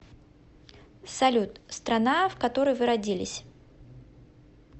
салют страна в которой вы родились